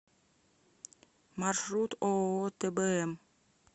маршрут ооо тбм